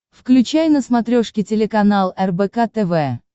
включай на смотрешке телеканал рбк тв